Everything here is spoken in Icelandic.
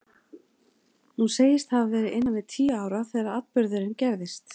Hún segist hafa verið innan við tíu ára þegar atburðurinn gerðist.